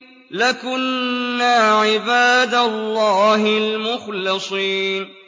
لَكُنَّا عِبَادَ اللَّهِ الْمُخْلَصِينَ